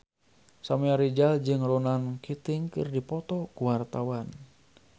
Samuel Rizal jeung Ronan Keating keur dipoto ku wartawan